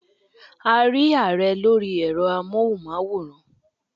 We saw the President on televisions